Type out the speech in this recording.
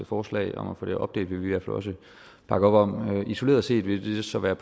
forslag om at få det opdelt vil vi også bakke op om isoleret set vil det så være